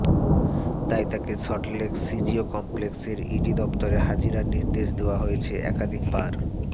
তাই তাকে সল্টলেক সিজিও কমপ্লেক্সের ইডি দফতরে হাজিরার নির্দেশ দেওয়া হয়েছে একাধিকবার